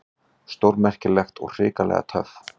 Stórmerkilegt og hrikalega töff.